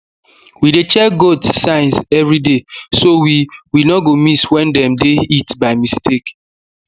we dey check goats signs everyday so we we no go miss when dem dey heat by mistake